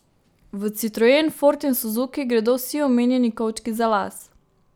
V citroen, ford in suzuki gredo vsi omenjeni kovčki za las.